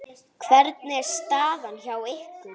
Hvernig er staðan hjá ykkur?